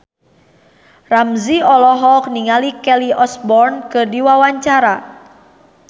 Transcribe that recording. Ramzy olohok ningali Kelly Osbourne keur diwawancara